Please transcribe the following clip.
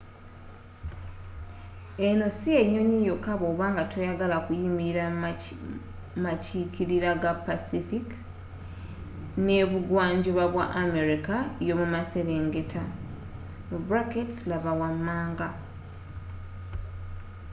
eno si y'ennyonyi yokka bwoba nga toyagala kuyimirira mu makirira ga pacific n’ebugwanjuba bwa america yomumaserengeta.laba wamanga